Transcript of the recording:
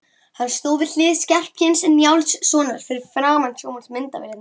Hann stóð við hlið Skarphéðins Njálssonar fyrir framan sjónvarpsmyndavélar.